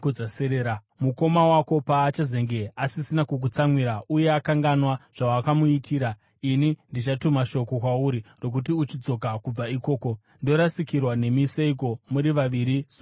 Mukoma wako paachazenge asisina kukutsamwira uye akanganwa zvawakamuitira, ini ndichatuma shoko kwauri rokuti uchidzoka kubva ikoko. Ndorasikirwa nemi seiko muri vaviri zuva rimwe chete?”